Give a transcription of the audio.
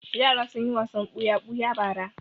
Yara sun yi wasan buya-buya bara.